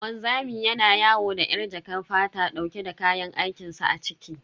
Wanzami yana yawo da yar jakar fata dauke da kayan aikin sa a ciki.